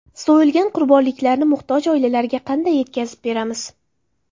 So‘yilgan qurbonliklarni muhtoj oilalarga qanday yetkazib beramiz?